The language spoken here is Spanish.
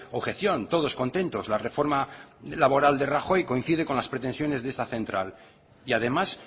objeción todos contentos la reforma laboral de rajoy coincide con las pretensiones de esta central y además